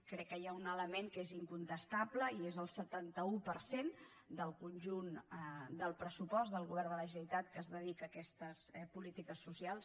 crec que hi ha un element que és incontestable i és el setanta un per cent del conjunt del pressupost del govern de la generalitat que es dedica a aquestes polítiques socials